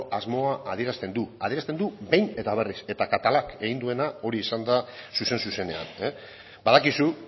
asmoa adierazten du adierazten du behin eta berriz eta catalák egin duena hori izan da zuzen zuzenean badakizu